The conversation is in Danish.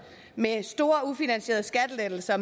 med store ufinansierede skattelettelser